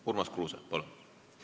Urmas Kruuse, palun!